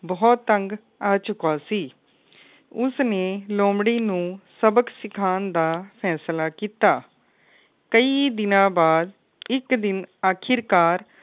ਬੋਹਤ ਤੰਗ ਆ ਚੁੱਕਾ ਸੀ। ਉਸ ਨੇ ਲੋਮੜੀ ਨੂੰ ਸਬਕ ਸਿਖਾਣ ਦਾ ਫੈਸਲਾ ਕੀਤਾ। ਕਈ ਦਿਨਾ ਬਾਦ ਇੱਕ ਦਿਨ ਆਖੀਰਕਾਰ